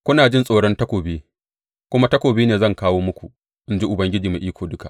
Kuna jin tsoron takobi, kuma takobi ne zan kawo muku, in ji Ubangiji Mai Iko Duka.